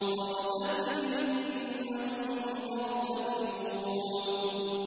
فَارْتَقِبْ إِنَّهُم مُّرْتَقِبُونَ